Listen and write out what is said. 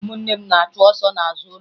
Ụmụnne m na-achụ ọsọ n'azụ ụlọ